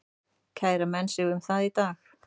Kæra menn sig um það í dag?